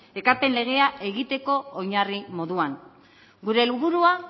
ekarpen legea egiteko oinarri moduan gure helburua